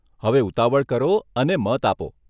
હવે ઉતાવળ કરો અને મત આપો.